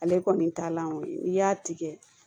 Ale kɔni talanko ye n'i y'a tigɛ